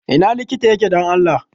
Ina likita yake don Allah?